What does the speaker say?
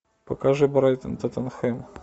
покажи брайтон тоттенхэм